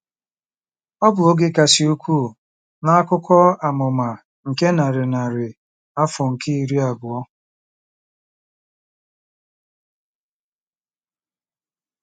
Ọ bụ oge kasị ukwuu n'akụkọ amụma nke narị narị afọ nke iri abụọ.